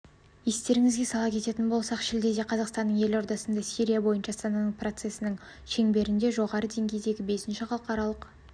естеріңізге сала кететін болсақ шілдеде қазақстанның елордасында сирия бойынша астана процесінің шеңберінде жоғары деңгейдегі бесінші халықаралық